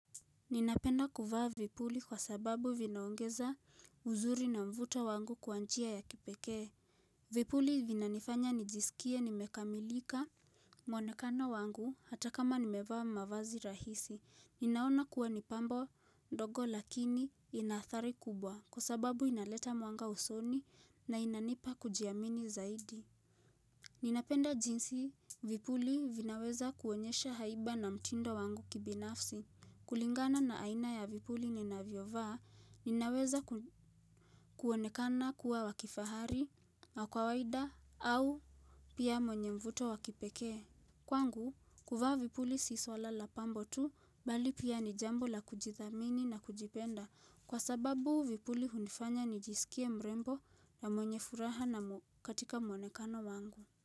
Ninapenda kuvaa vipuli kwa sababu vinaongeza uzuri na mvuto wangu kwa njia ya kipekee Vipuli vinanifanya nijisikie nimekamilika mwonekano wangu hata kama nimevaa mavazi rahisi Ninaona kuwa ni pambo ndogo lakini ina athari kubwa kwa sababu inaleta mwanga usoni na inanipa kujiamini zaidi Ninapenda jinsi vipuli vinaweza kuonyesha haiba na mtindo wangu kibinafsi kulingana na aina ya vipuli ninaviovaa ninaweza kuonekana kuwa wakifahari na kawaida au pia mwenye mvuto wakipekee. Kwangu, kuvaa vipuli si swala la pambo tu bali pia ni jambo la kujithamini na kujipenda kwa sababu vipuli hunifanya nijisikie mrembo na mwenye furaha na katika mwonekano wangu.